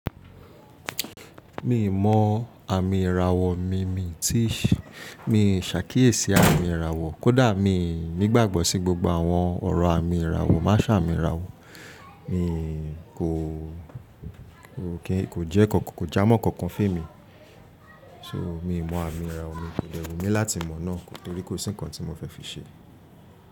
Mi mọ àmì ìràwọ̀, mí mí tí mi ṣàkíyèsí àmì ìràwọ̀. Kódà mi ò nígbàgbọ́ sí gbogbo àwọn ọ̀rọ̀ àmìn ìràwọ̀, maa sa àmìn ìràwọ̀, mi kò, kíì jẹ́ kankan, kò já mọ́ kankan fé mi. So mi mọ àmìn ìràwọ̀, mi ò láti mọ̀ náà torí kò sí nǹkan tí mo fẹ́ fi ṣe.